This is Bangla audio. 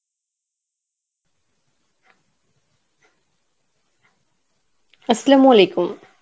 Arbi